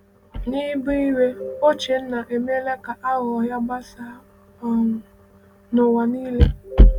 N’ịbụ iwe, Ochena emeela ka aghụghọ ya gbasaa um n’ụwa niile.